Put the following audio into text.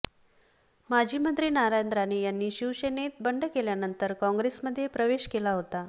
माजी मंत्री नारायण राणे यांनी शिवसेनेत बंड केल्यानंतर कॉंग्रेसमध्ये प्रवेश केला होता